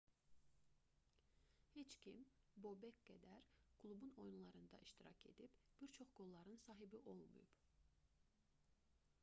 heç kim bobek qədər klubun oyunlarında iştirak edib bir çox qolların sahibi olmayıb